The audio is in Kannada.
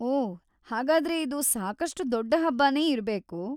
ಓಹ್‌, ಹಾಗಾದ್ರೆ ಇದು ಸಾಕಷ್ಟು ದೊಡ್ಡ ಹಬ್ಬನೇ ಇರ್ಬೇಕು.